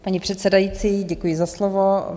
Paní předsedající, děkuji za slovo.